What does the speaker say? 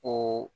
O